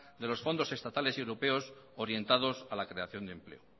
de los fondos estatales y europeos orientados a la creación de empleo